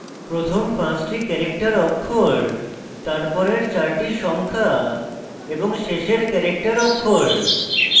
প্রথম পাঁচটি ক্যারেক্টার অক্ষর তারপরের চারটি সংখ্যা এবং শেষের ক্যারেক্টার অক্ষর